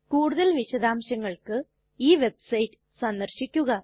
കൂടുതൽ വിശദാംശങ്ങൾക്ക് ഈ വെബ്സൈറ്റ് സന്ദര്ശിക്കുക